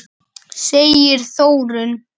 segir Þórunn.